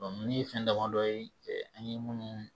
nunnu ye fɛn damadɔ ye an ye minnu